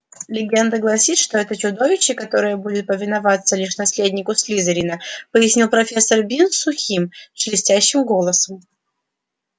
легенда гласит что это чудовище которое будет повиноваться лишь наследнику слизерина пояснил профессор бинс сухим шелестящим голосом